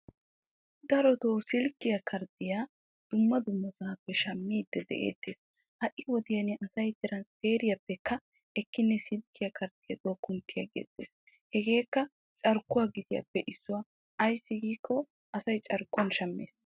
Darotoo silkkiyaa karddiyaa dumma dummasaappe shammiiddi de'eettees. Hai wodiyan asay transpeeriyaappekka ekkinne silkkiyaa karddiyaduwaa kunttiyaagges. Hegeekka carkkuwaa gitiyaappe issuwaa. Ayssi giikko asay carkkuwan shammees.